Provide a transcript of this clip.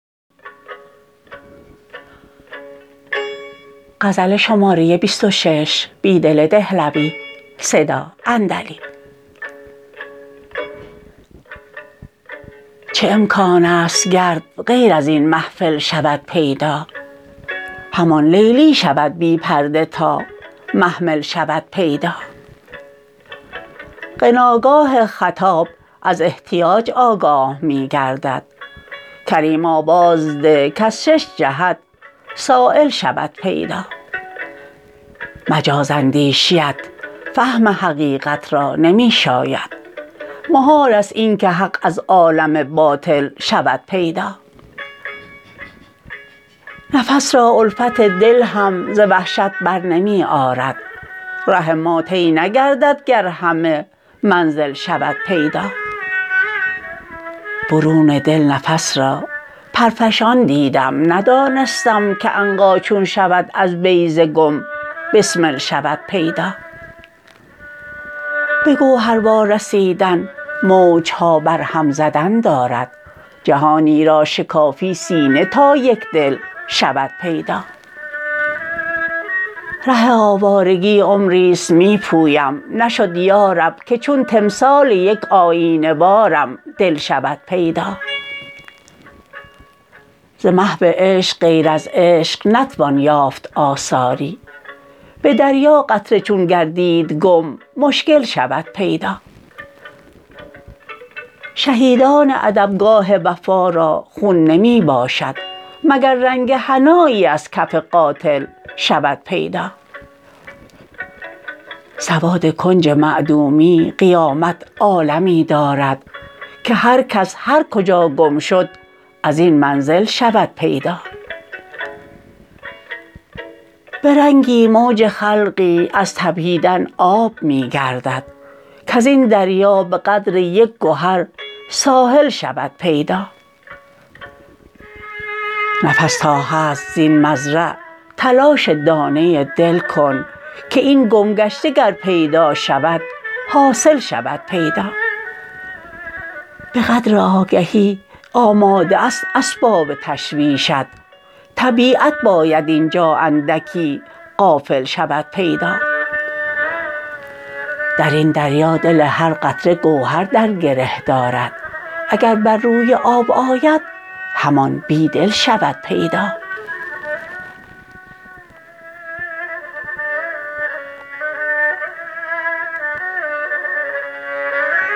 چه امکان است گرد غیر ازین محفل شود پیدا همان لیلی شود بی پرده تا محمل شود پیدا غناگاه خطاب از احتیاج آگاه می گردد کریم آواز ده کز شش جهت سایل شود پیدا مجازاندیشی ات فهم حقیقت را نمی شاید محال است اینکه حق از عالم باطل شود پیدا نفس را الفت دل هم ز وحشت برنمی آرد ره ما طی نگردد گر همه منزل شود پیدا برون دل نفس را پرفشان دیدم ندانستم که عنقا چون شود از بیضه گم بسمل شود پیدا به گوهر وارسیدن موج ها برهم زدن دارد جهانی را شکافی سینه تا یک دل شود پیدا ره آوارگی عمری ست می پویم نشد یارب که چون تمثال یک آیینه وارم دل شود پیدا ز محو عشق غیر از عشق نتوان یافت آثاری به دریا قطره چون گردید گم مشکل شود پیدا شهیدان ادبگاه وفا را خون نمی باشد مگر رنگ حنایی از کف قاتل شود پیدا سواد کنج معدومی قیامت عالمی دارد که هر کس هر کجا گم شد ازین منزل شود پیدا به رنگی موج خلقی از تپیدن آب می گردد کزین دریا به قدر یک گهر ساحل شود پیدا نفس تا هست زین مزرع تلاش دانه دل کن که این گمگشته گر پیدا شود حاصل شود پیدا به قدر آگهی آماده است اسباب تشویش ات طبیعت باید اینجا اندکی غافل شود پیدا درین دریا دل هر قطره گوهر در گره دارد اگر بر روی آب آید همان بیدل شود پیدا